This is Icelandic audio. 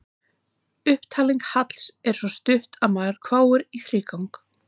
Upptalning Halls er svo stutt að maðurinn hváir í þrígang.